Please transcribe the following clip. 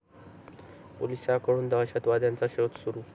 पोलिसांकडून दहशतवाद्यांचा शोध सुरु